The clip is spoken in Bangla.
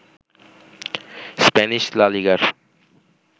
স্প্যানিশ লা লিগার